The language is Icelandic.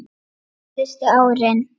Síðustu árin